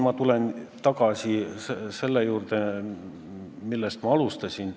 Ma tulen nüüd tagasi selle juurde, millest alustasin.